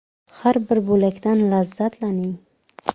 Har bir bo‘lakdan lazzatlaning.